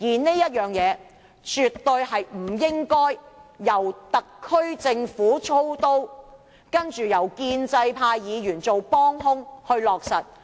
這件事更絕對不應該由特區政府操刀，然後由建制派議員做"幫兇"去落實。